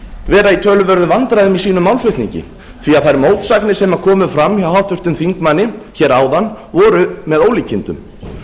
vera í töluverðum vandræðum í sínum málflutningi því að þær mótsagnir sem komu fram hjá háttvirtum þingmanni hér áðan voru með ólíkindum